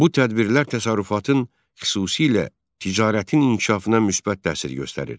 Bu tədbirlər təsərrüfatın xüsusilə ticarətin inkişafına müsbət təsir göstərir.